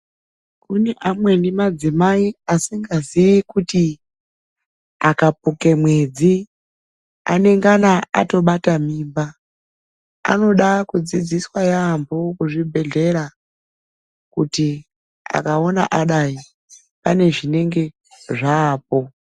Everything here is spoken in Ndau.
Kune amweni madzimai asingaziyi kuti akapuke mwedzi anongana atobata mimba. Anoda kudzidziswa yaambo kuzvibhedhlera Kuti akaona adai panezvinenge zvaapo.